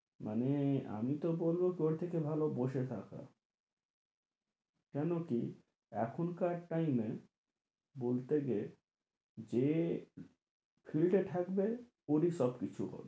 আমি তো বলবো তার থেকে ভালো বসে থাকা কেনোকি এখনকার time এ বলতে গেলে যে field এ থাকবে ওরি সব কিছু হবে